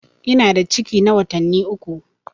Ina da ciki na watanni uku.